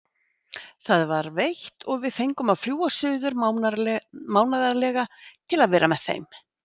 Það var veitt og við fengum að fljúga suður mánaðarlega til að vera með þeim.